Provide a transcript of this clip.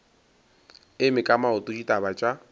eme ka maoto ditaba tša